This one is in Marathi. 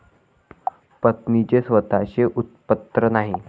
पत्नीचे स्वतःचे उत्पन्न नाही.